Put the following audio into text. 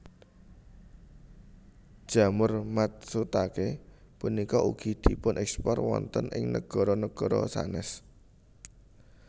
Jamur matsutaké punika ugi dipunekspor wonten ing nagara nagara sanés